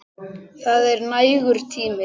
Það er nægur tími.